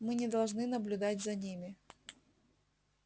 мы не должны наблюдать за ними